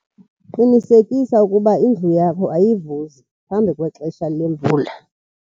qinisekisa ukuba indlu yakho ayivuzi kwaphambi kwexesha lemvula